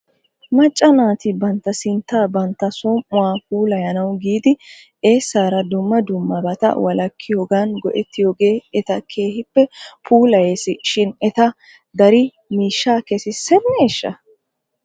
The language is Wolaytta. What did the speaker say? Macca naati bantta sinttaa bantta som"uwaa puulayanawu giidi eesaara dumma dummabata wolakkiyoogan go'ettiyoogee eta keehippe puulayes shin eta dari miishshaa kesisseneeshsha?